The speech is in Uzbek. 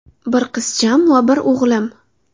Bir qizcham va bir o‘g‘lim.